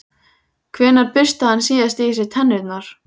Hvenær burstaði hann síðast í sér tennurnar?